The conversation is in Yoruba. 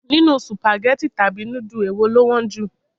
Nínú Sùpàgẹ́tì tàbí núdù, èwo lọ wọ́n jù?